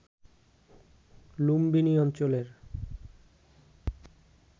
লুম্বিনী অঞ্চলের